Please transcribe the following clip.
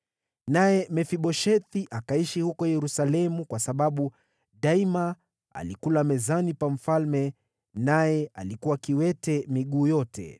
Naye Mefiboshethi akaishi huko Yerusalemu, kwa sababu daima alikula mezani pa mfalme, naye alikuwa kiwete miguu yote.